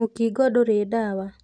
Mũkingo ndũrĩ ndawa.